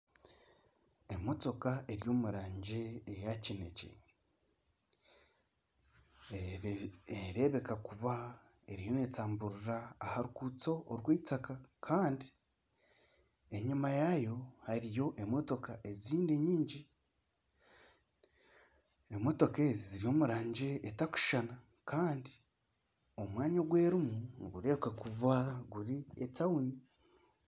Emotoka eri omu rangi eya kinekye, nereebeka kuba eriyo neetamburira aha ruguuto orw'eitaka kandi enyima yaayo hariyo emotoka ezindi nyingi. Emotoka ezi ziri omu rangi etarikushushana kandi omwanya ogu zirimu nigureebeka kuba etawuni.